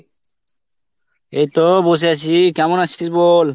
এই তো বসে আছি। কেমন আছিস বল ?